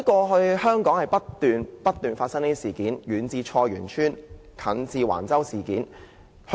香港過去不斷發生這類事情，遠至菜園村，近至橫洲事件。